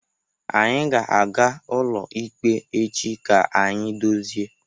Anyị ga-aga ụlọikpe echi ka anyị dozie.